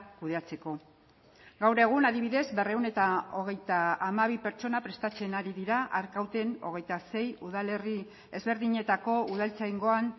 kudeatzeko gaur egun adibidez berrehun eta hogeita hamabi pertsona prestatzen ari dira arkauten hogeita sei udalerri ezberdinetako udaltzaingoan